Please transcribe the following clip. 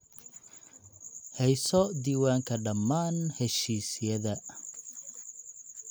Hayso diiwaanka dhammaan heshiisyada.